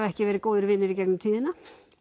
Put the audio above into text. ekki verið góðir vinir í gegnum tíðina